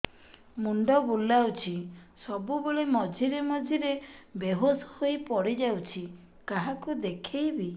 ମୁଣ୍ଡ ବୁଲାଉଛି ସବୁବେଳେ ମଝିରେ ମଝିରେ ବେହୋସ ହେଇ ପଡିଯାଉଛି କାହାକୁ ଦେଖେଇବି